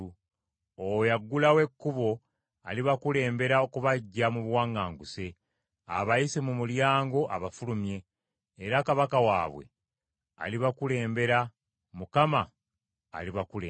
Oyo aggulawo ekkubo alibakulembera okubaggya mu buwaŋŋanguse, abayise mu mulyango abafulumye. Era kabaka waabwe alibakulembera, Mukama alibakulembera.”